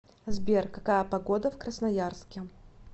сбер какая погода в красноярске